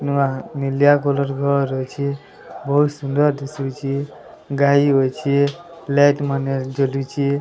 ନୂଆ ନିଲିଆ କଲର୍ ଘର ରହିଛି ବହୁତ୍ ସୁନ୍ଦର୍ ଦିଶୁଛି ଗାଈ ହୋଇଛି ପ୍ଲେଟ୍ ମାନେ ଝୁଲୁଛି।